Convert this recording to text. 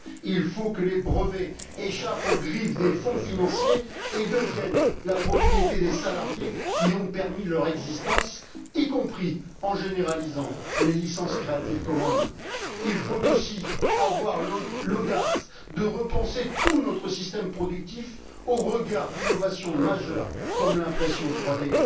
Il faut que les brevets échappent aux griffes des fonds financiers et deviennent la propriété des salariés qui ont permis leur existence, y compris en généralisant les licences Creative Commons. Il faut aussi avoir l'audace de repenser tout notre système productif au regard d'innovations majeures, comme l'impression 3D.